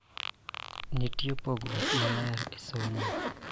Nitie pogruok maler e somo